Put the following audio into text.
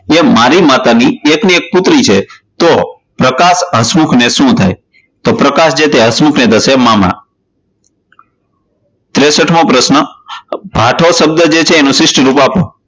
એ મારી માતાની એકની એક પુત્રી છે તો પ્રકાશ હસમુખને શું થાય? તો પ્રકાશ છે જે હસમુખને એને થશે મામા. ત્રેસથ મો પ્રશ્ન ભાટો શબ્દજે છે એનું શિષ્ટ રૂપ આપો.